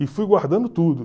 E fui guardando tudo.